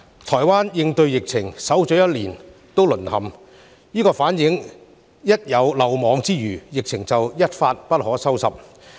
台灣應對疫情，守了一年仍告"淪陷"，這反映出一旦有漏網之魚，疫情便會一發不可收拾。